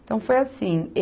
Então, foi assim.